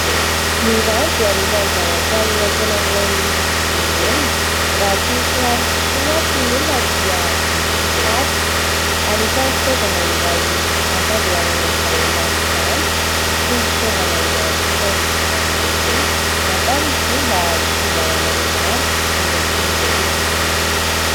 Ny rano dia anisan'ny zavatra iray tena ilain'ny olombelona, raha tsy misy rano tokoa mantsy ny olona dia mety Hofaty. Anisan'ny fitaovana iray hampandehanana izany rano izany ity fitaovana iray ampiasain'ny JIRAMA ity, natao izy io mba hitsinjarana ny rano erakin' ny toerana rehetra.